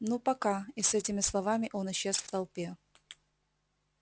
ну пока и с этими словами он исчез в толпе